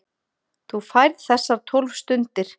Þú færð þessar tólf stundir.